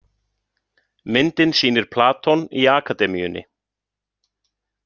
Myndin sýnir Platon í Akademíunni.